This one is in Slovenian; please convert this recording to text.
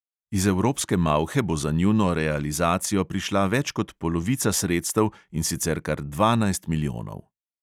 Iz evropske malhe bo za njuno realizacijo prišla več kot polovica sredstev, in sicer kar dvanajst milijonov.